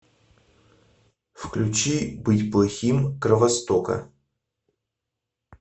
включи быть плохим кровостока